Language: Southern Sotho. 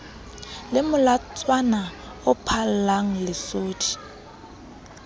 le molatswana o phallang lesodi